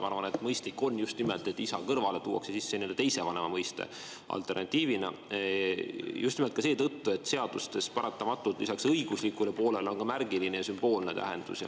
Ma arvan, et mõistlik on, et isa kõrvale tuuakse alternatiivina sisse nii-öelda teise vanema mõiste, just nimelt ka seetõttu, et seadustel on paratamatult lisaks õiguslikule poolele ka märgiline ja sümboolne tähendus.